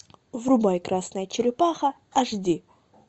врубай красная черепаха аш ди